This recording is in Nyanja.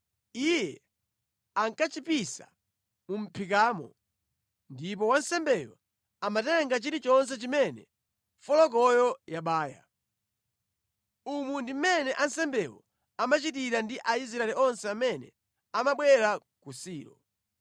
Iye ankachipisa mu mʼphikamo, ndipo wansembeyo amatenga chilichonse chimene folokoyo yabaya. Umu ndi mmene ansembewo amachitira ndi Aisraeli onse amene amabwera ku Silo.